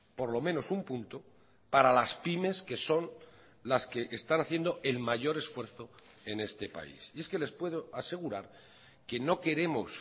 por lo menos un punto para las pymes que son las que están haciendo el mayor esfuerzo en este país y es que les puedo asegurar que no queremos